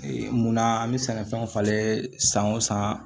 munna an bɛ sɛnɛfɛnw falen san o san